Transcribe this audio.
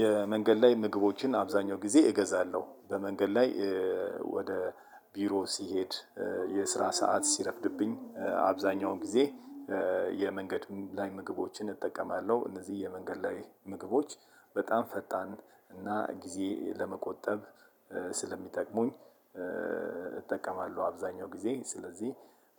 የመንገድ ላይ ምግቦችን አብዛኛው ጊዜ እገዛለሁ። በመንገድ ላይ ወደ ቢሮ ስሄድ የስራ ሰዓት ሲረፍድብኝ አብዛኛውን ጊዜ የመንገድ ላይ ምግቦችን እጠቀማለሁ። እነዚህ የመንገድ ላይ ምግቦች በጣም ፈጣን እና ጊዜ ለመቆጠብ ስለሚጠቅሙኝ እጠቀማለሁ አብዛኛው ጊዜ ስለዚህ